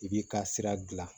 I b'i ka sira gilan